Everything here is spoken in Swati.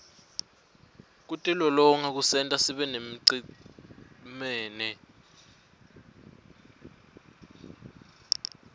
kutilolonga kusenta sibeyimicemene